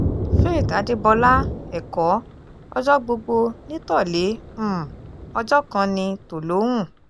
faith adébọlá ẹ̀kọ́ ọjọ́ gbogbo ní tolè um ọjọ́ kan ní tòlóhùn um